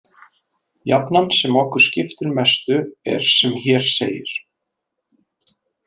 Jafnan sem okkur skiptir mestu er sem hér segir